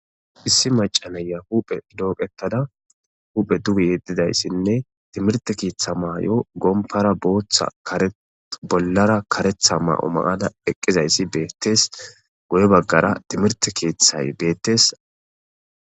Issi macaneya huphe dooqettada huphe dubi yeddidayssinne timirti kieththa maay,o gompara booththa kare bollara karetha ma,o maada eqqizayssi beettees goye baggara timirti keeththay beettes.